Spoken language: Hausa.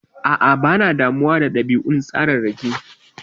A'a, bana damuwa da ɗabi'un tsararraki.